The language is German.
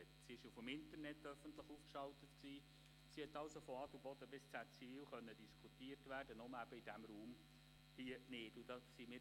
Sie wurde im Internet veröffentlicht und konnte also von Adelboden bis nach Zäziwil diskutiert werden – nur in diesem Raum hier nicht.